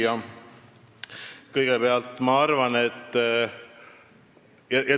Hea küsija!